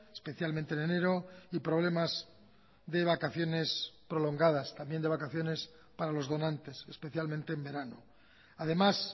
especialmente en enero y problemas de vacaciones prolongadas también de vacaciones para los donantes especialmente en verano además